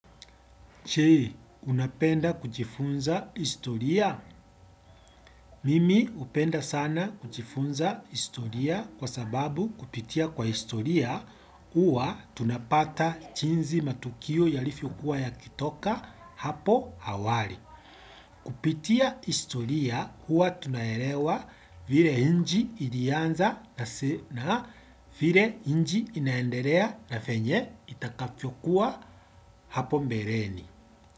Je, unapenda kujifunza historia? Mimi hupenda sana kujifunza historia kwa sababu kupitia kwa historia uwa tunapata jiinzi matukio yalivyokua yakitoka hapo hawali. Kupitia historia uwa tunaelewa vile nchi ilianza na vile nchi inaendelea na venye itakavyo kuwa hapo mbeleni.